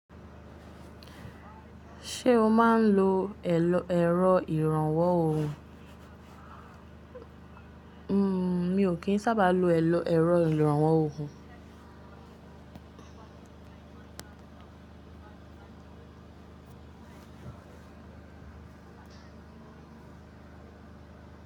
Ṣé o máa ń lo ẹ̀rọ ìrànwọ́ oògùn? Mi ò kí ń sábà lo ẹ̀rọ ìrànwọ́ oògùn.